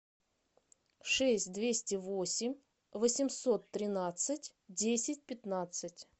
шесть двести восемь восемьсот тринадцать десять пятнадцать